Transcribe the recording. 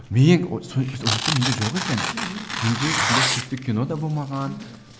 ойлап отырсам жоқ екен мхм менде сондай сүйікті кино да болмаған